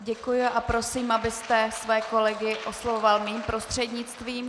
Děkuji a prosím, abyste svoje kolegy oslovoval mým prostřednictvím.